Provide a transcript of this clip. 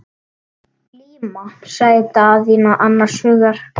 Glíma, sagði Daðína annars hugar.